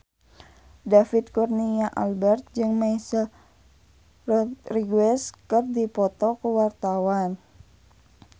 David Kurnia Albert jeung Michelle Rodriguez keur dipoto ku wartawan